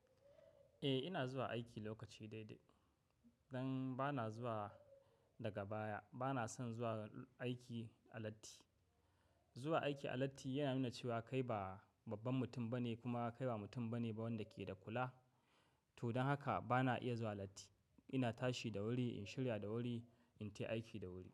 Eh ina zuwa aiki lokaci daidai. Dan bana zuwa daga baya, bana son zuwa aiki a latti. Zuwa aiki a latti yana nuna cewa kai ba babban mutum bane kuma kai ba mutum bane ba wanda ke da kula. To don haka bana iya zuwa latti. Ina tashi da wuri, in shirya da wuri, in tafi aiki da wuri.